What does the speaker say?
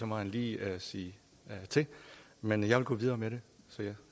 må han lige sige til men jeg vil gå videre med det så jeg